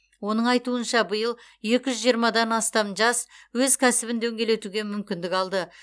оның айтуынша биыл екі жүз жиырмадан астам жас өз кәсібін дөңгелетуге мүмкіндік алды